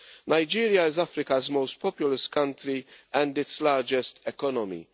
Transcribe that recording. Nigeria is Africa's most populous country and its largest economy.